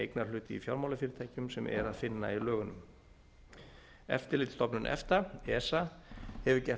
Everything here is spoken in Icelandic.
eignarhluti í fjármálafyrirtækjum sem er að finna í lögunum eftirlitsstofnun efta esa hefur gert